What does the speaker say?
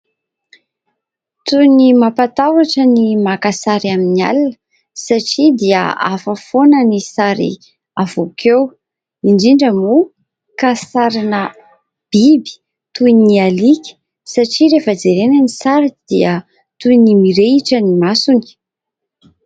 Toy ny mampatahotra ny maka sary amin'ny alina satria dia hafa foana ny sary avoaka eo. Indrindra moa ka ny sarin'ny biby toy ny alika satria rehefa jerena ny sary dia toy ny mirehitra ny masony.